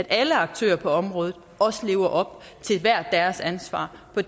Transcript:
alle aktører på området også lever op til hver deres ansvar for